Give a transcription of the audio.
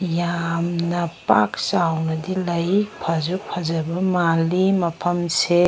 ꯌꯥꯝꯅ ꯄꯥꯛ ꯆꯥꯎꯅꯗꯤ ꯂꯩ ꯐꯖꯨ ꯐꯖꯕ ꯃꯥꯜꯂꯤ ꯃꯐꯝꯁꯦ꯫